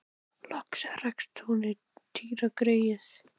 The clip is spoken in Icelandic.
Loks rakst hún á Týra greyið.